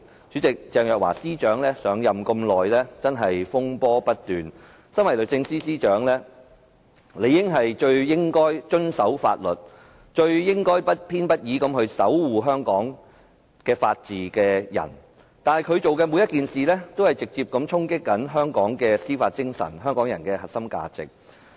主席，鄭若驊司長上任至今風波不斷，身為律政司司長，理應是最遵守法律、最不偏不倚地守護香港法治的人，但她所做的每一件事，均直接衝擊香港的司法精神和香港人的核心價值。